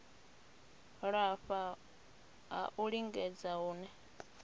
lafha ha u lingedza hune